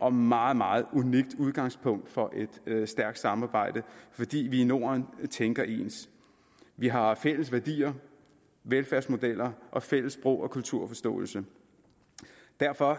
og meget meget unikt udgangspunkt for et stærkt samarbejde fordi vi i norden tænker ens vi har fælles værdier velfærdsmodeller og fælles sprog og kulturforståelse derfor